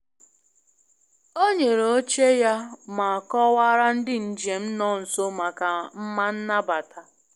O nyere oche ya ma kọwaara ndị njem nọ nso maka mma nnabata